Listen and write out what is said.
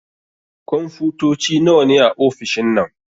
Kunfotoci nawa ne a ofishin nan?